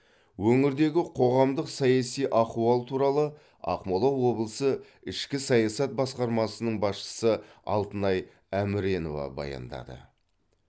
өңірдегі қоғамдық саяси ахуал туралы ақмола облысы ішкі саясат басқармасының басшысы алтынай әміренова баяндады